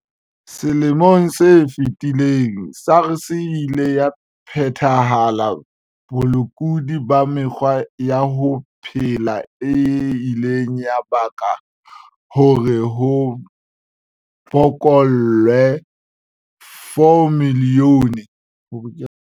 Selemong se fetileng, SARS e ile ya phethela bolekudi ba mekgwa ya ho phela e ileng ya baka hore ho bokellwe 4 milione.